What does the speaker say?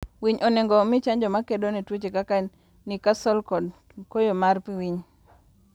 winy onego omii chanjo makedo ne tuoche kaka necastle kod koyo mar winy